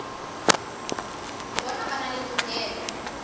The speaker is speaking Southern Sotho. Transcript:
bona ba na le tokelo